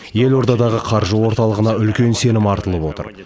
елордадағы қаржы орталығына үлкен сенім артылып отыр